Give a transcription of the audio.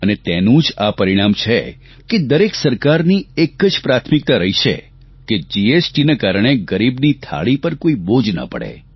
અને તેનું જ આ પરિણામ છે કે દરેક સરકારની એક જ પ્રાથમિકતા રહી છે કે જીએસટીના કારણે ગરીબની થાળી પર કોઇ બોજ ના પડે